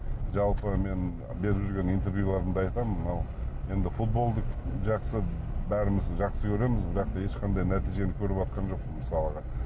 жалпы мен беріп жүрген интервьюлерымде айтамын мынау енді футболды жақсы бәріміз жақсы көреміз бірақ та ешқандай нәтижені көрватқан жоқпын мысалға